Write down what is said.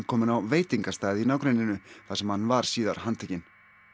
kominn á veitingastað í nágrenninu þar sem hann var síðar handtekinn